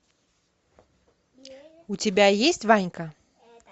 у тебя есть ванька